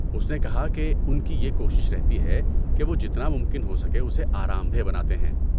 اس نے کہا کہ ان کی یہ کوشش رہتی ہے کہ وہ جتنا ممکن ہو سکے اسے آرام دہ بناتے ہیں۔